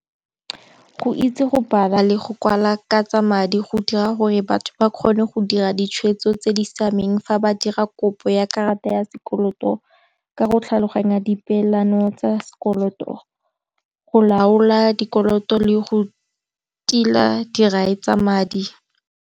Go itse go bala le go kwala ka tsa madi go dira gore batho ba kgone go dira ditshwetso tse di siameng, fa ba dira kopo ya karata ya sekoloto ka go tlhaloganya di peelano tsa sekoloto, go laola dikoloto le go tila dirai tsa madi.